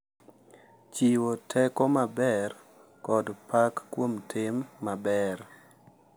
Chiwo teko maber kod pak kuom tim maber,